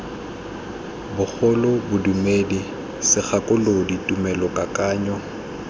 bogole bodumedi segakolodi tumelo kakanyo